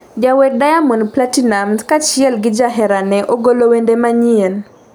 jawer Diamond Platnumz kaachiel gi jaherane ogolo wende manyien,